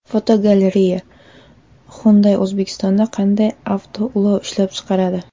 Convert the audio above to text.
Fotogalereya: Hyundai O‘zbekistonda qanday avtoulovlar ishlab chiqaradi?.